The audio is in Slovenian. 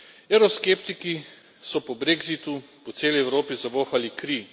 Evroskeptiki so po brexitu po celi Evropi zavohali kri.